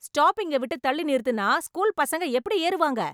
ஸ்டாப்பிங்கை விட்டு தள்ளி நிறுத்தினா, ஸ்கூல் பசங்க எப்படி ஏறுவாங்க?